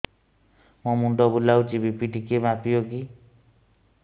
ମୋ ମୁଣ୍ଡ ବୁଲାଉଛି ବି.ପି ଟିକିଏ ମାପିବ କି